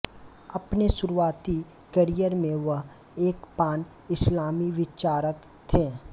अपने शुरुआती करियर में वह एक पान इस्लामी विचारक थे